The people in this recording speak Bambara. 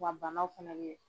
Wa banaw fɛnɛ bɛ yen